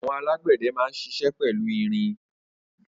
Awọn àlágbẹdẹ mà n ṣiṣẹ pẹlú irin